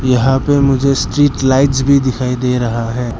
यहां पे मुझे स्ट्रीट लाइट्स भी दिखाई दे रहा है।